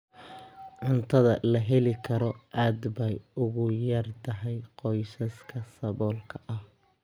Cuntada la heli karo aad bay ugu yar tahay qoysaska saboolka ah.